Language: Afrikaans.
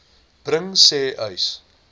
bring sê uys